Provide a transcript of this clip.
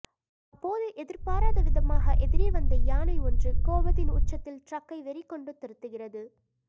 அப்போது எதிர்பாராத விதமாக எதிரே வந்த யானை ஒன்று கோபத்தின் உச்சத்தில் ட்ரக்கை வெறிகொண்டு துரத்துகிறது